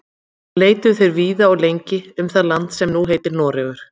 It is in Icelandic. Leituðu þeir víða og lengi um það land sem nú heitir Noregur.